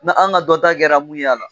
Ni an ka ka dɔnta kɛra mun y'a la.